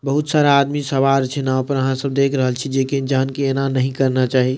बहुत सारा आदमी सवार छै नाव पर अहां सब देख रहल छीये जेकी जान के ऐना नहीं करना चाही।